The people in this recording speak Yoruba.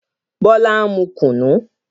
Bọlá ń mu kunu